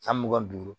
San mugan ni duuru